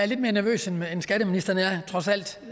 lidt mere nervøs end skatteministeren er trods alt